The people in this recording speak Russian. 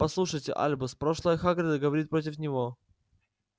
послушайте альбус прошлое хагрида говорит против него